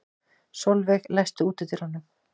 Solveig, læstu útidyrunum.